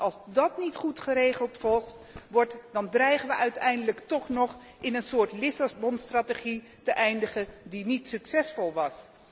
Want als dat niet goed geregeld wordt, dan dreigen we uiteindelijk toch nog in een soort Lissabonstrategie te eindigen die niet succesvol was.